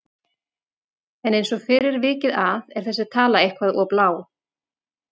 En eins og fyrr er vikið að er þessi tala eitthvað of lág.